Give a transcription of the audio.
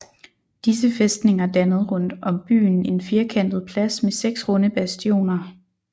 Disse fæstninger dannede rundt om byen en firkantet plads med 6 runde bastioner